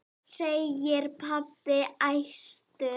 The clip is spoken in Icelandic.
segir pabbi æstur.